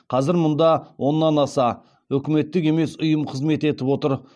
қазір мұнда оннан аса үкіметтік емес ұйым қызмет етіп отыр